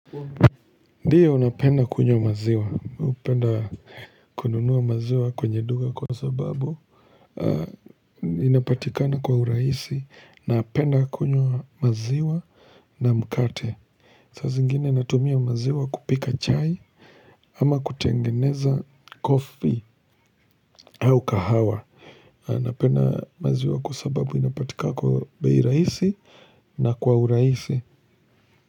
Ndiyo napenda kunywa maziwa, hupenda kununuwa maziwa kwenye duka kwa sababu Inapatikana kwa urahisi, napenda kunywa maziwa na mkate saa zingine natumia maziwa kupika chai ama kutengeneza coffee au kahawa Napenda maziwa kwa sababu inapatikana kwa bei rahisi na kwa urahisi.